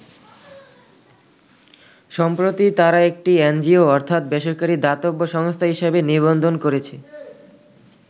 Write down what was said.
সম্প্রতি তারা একটি এনজিও অর্থাৎ বেসরকারি দাতব্য সংস্থা হিসাবে নিবন্ধন করেছে।